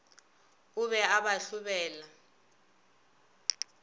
o be a ba hlobela